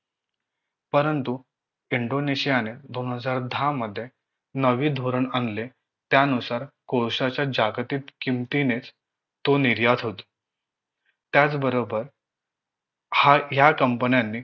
परंतु इंडोनेशियाने दोन हजार दहा मध्ये नवे धोरण आणले त्यानुसार कोळश्याच्या जागतिक किमतीनेच तो निर्यात होत त्याच बरोबर हा या company न्यानी